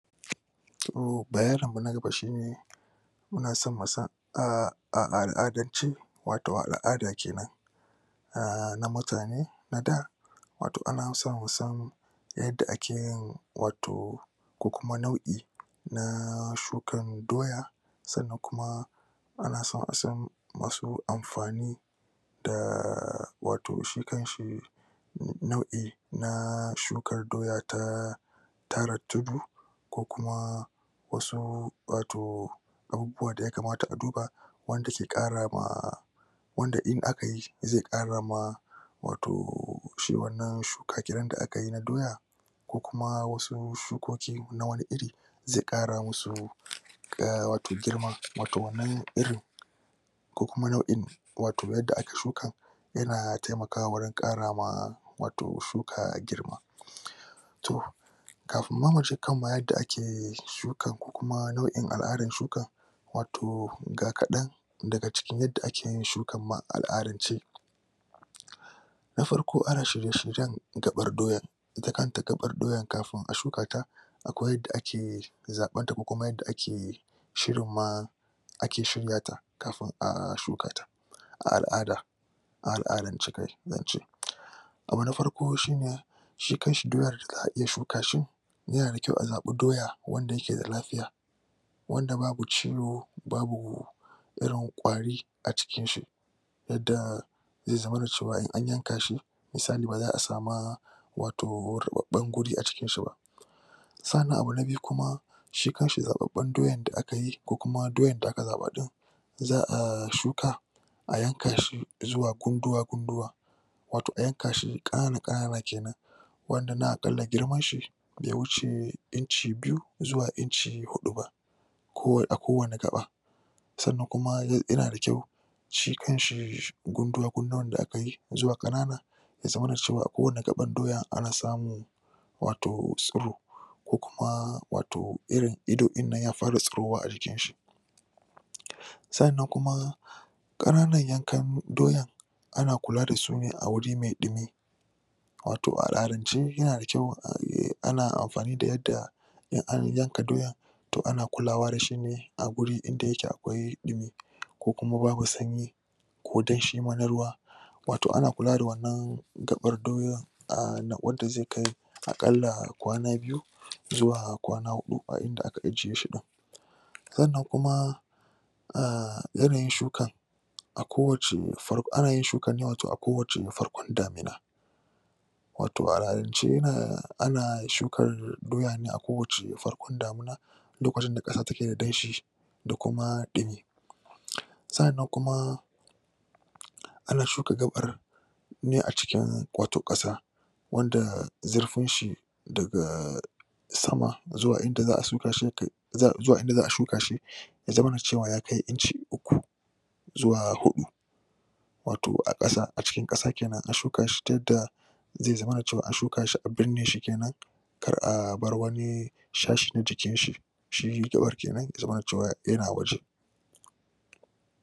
Toh, bayanin mu na gaba shine muna so mu san a um al'adance, wato a al'ada kenan um na mutane na da wato ana san musan yadda akeyin wato ku kuma nau'i na um shukan doya sannan kuma ana san asan wasu amfani da um wato shi kanshi nau'i na um shukar doya ta tara tudu ko kuma wasu wato abubuwa daya kamata a duba wanda zai Ƙara ma wanda in akayi, zai Ƙara ma wato shi wannan shuka kenan da akayi na doya ko kuma wasu shukoki na wani iri zai Ƙara musu um wato girma, wato wannan irin ko kuma nau'in wato yadda aka shuka yana taimakawa wurin Ƙarama wato shuka girma toh kafin ma muje kan yadda ake shukan, ku kuma nau'in al'adan shukan wato ga kadan daga cikin yadda akeyin shukan ma a al'adance na farko, ana shirye-shiryen ga ɓar doya ita kanta gaɓar kafin a shuka ta akwai yadda akeyi zaɓar ta kukuma yadda ake shirin ma ake shiryata kafin a shuka ta a al'ada a al'adace kai zance abu na farko shine shi kanshi doyar za'a iya shuka shi yanada kyau a zaɓa doya wanda yake da lafiya wanda babu ciwo babu irin kwari a cikin shi yadda zai zamana cewa in an yanka shi misali baza'a sama wato rubaban gurin a jikin shi ba sannan abu na biyu kuma shi kanshi zaɓabban doyan da akayi ko kuma doyan da aka zaɓa din za'a shuka a yanka shi izuwa gunduwa gunduwa wato a yanka shi kanana kanana kenan girmanshi be wuce inci biyu zuwa inci hudu ba a kowani gaɓa sannan kuma yanda kyau shi kanshi gunduwa gunduwan da akayi izuwa kanana ya zamana cewa a kowani gaɓar doya ana samun wato tsoro ko kuma wato irin idon dinnan ya fara tsirowa a jikinshi sannan kuma kananan yankan doyan ana kula dasu ne a wuri mai ɗumi wato a al'adance yanada kyau ana amfani da yadda in an yanka doyan to ana kulawa dashi a guri inda yake akwai ɗumi ko kuma babu sanyi ko danshi ma na ruwa wato ana kula da wannan gabar doyoyin um wadda zai kai akalla kwana biyu zuwa kwana huɗu a inda aka ajiye shi din sannan kuma um yanayin shukar a kowacce far ana yin shukar ne a kowacce farkon damina wato a al'adance yana ana shukar doya ne a kowacce farkon damina lokacin da kasa take da danshi da kuma ɗumi sa 'annan kuma ana shuka gaɓar ne a cikin wato kasa wanda zurfin sa daga sama zuwa inda za'a shuka shi ya kai zuwa inda za'a shuka ya zamana cewa ya kai inci uku zuwa hudu wato a kasa a cikin kasa kenan, a shuka shi ta yadda zai zamana cewa an shuka shi a binne shi kenan kar a bar wani shashi na jikinshi shi gaɓar kenan ya zamana cewa yana waje